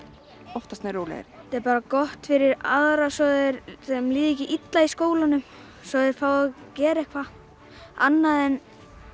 oftast nær rólegri þetta er bara gott fyrir aðra svo að þeim líði ekki illa í skólanum svo að þeir fái að gera eitthvað annað en